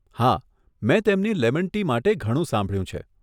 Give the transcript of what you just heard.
હા, મેં તેમની લેમન ટી માટે ઘણું સાંભળ્યું છે.